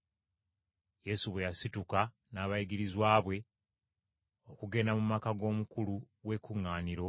Yesu bwe yasituka n’abayigirizwa be okugenda mu maka g’omukulu w’ekkuŋŋaaniro,